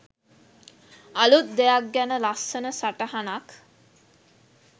අලුත් දෙයක් ගැන ලස්සන සටහනක්